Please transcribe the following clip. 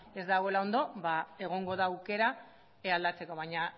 ez dagoela ondo egongo da aukera aldatzeko baina